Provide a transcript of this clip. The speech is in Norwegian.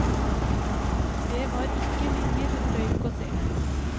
Det var ikke lenger røyk å se.